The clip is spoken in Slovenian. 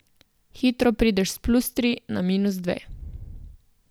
Hitro prideš s plus tri na minus dve.